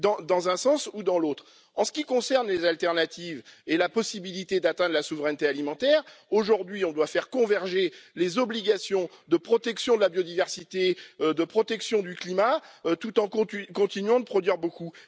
Dans un sens, ou dans l'autre. En ce qui concerne les alternatives et le risque d'atteinte à la souveraineté alimentaire, aujourd'hui, on doit faire converger les obligations de protection de la biodiversité et de protection du climat, tout en continuant de produire beaucoup.